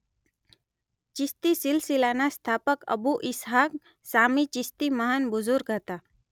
ચિશ્તી સિલસિલાના સ્થાપક અબૂ ઇસ્હાક શામી ચિશ્તી મહાન બુઝુર્ગ હતા